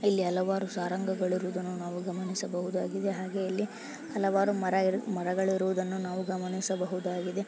ಇಲ್ಲಿ ಹಲವಾರು ಸಾರಂಗಗಳು ಇರುವುದನ್ನು ನಾವು ಗಮನಿಸಬಹುದಾಗಿದೆ ಹಾಗೆ ಅಲ್ಲಿ ಹಲವಾರು ಮರ ಇರು ಮರಗಳು ಇರುವುದನ್ನು ನಾವು ಗಮನಿಸಬಹುದಗಿದೆ.